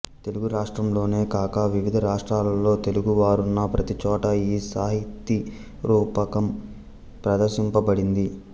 తెలుగు రాష్ట్రంలోనే కాక వివిధ రాష్ట్రాలలో తెలుగువారున్న ప్రతిచోటా ఈ సాహితీరూపకం ప్రదర్శింపబడింది